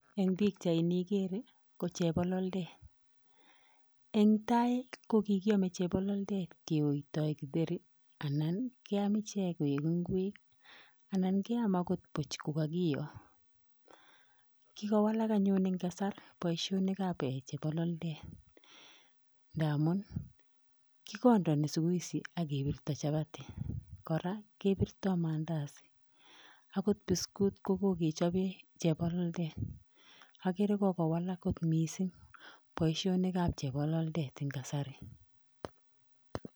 Eng bichait ni ikere ko chebololet eng tai kokikiame chebololet keoitoi kitheri anan keam ichek koek ngwek anan keam angot buch kokakio kikowalak anyun eng kasar boisionikab eh chebololet ndaamun kokandani sikuisi akebirto chapati kora kebirtoi mandazi agot biskut kokokechobe chebololet agere kokowalak kot mising boisionikab chebololet emg kasari